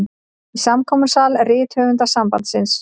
Í samkomusal Rithöfundasambandsins.